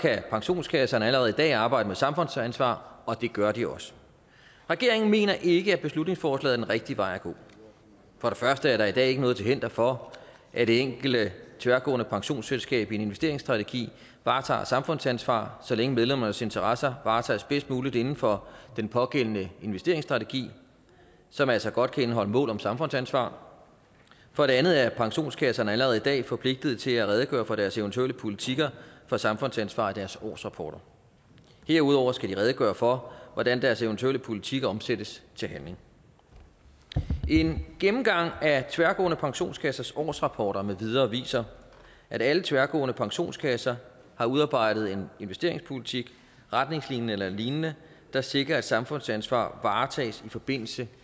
pensionskasserne allerede i dag arbejde med samfundsansvar og det gør de også regeringen mener ikke at beslutningsforslaget er den rigtige vej at gå for det første er der i dag ikke noget til hinder for at det enkelte tværgående pensionsselskab i sin investeringsstrategi varetager samfundsansvar så længe medlemmernes interesser varetages bedst muligt inden for den pågældende investeringsstrategi som altså godt kan indeholde mål om samfundsansvar for det andet er pensionskasserne allerede i dag forpligtet til at redegøre for deres eventuelle politikker for samfundsansvar i deres årsrapporter derudover skal de redegøre for hvordan deres eventuelle politik omsættes til handling en gennemgang af tværgående pensionskassers årsrapporter med videre viser at alle tværgående pensionskasser har udarbejdet en investeringspolitik retningslinjer eller lignende der sikrer at samfundsansvar varetages i forbindelse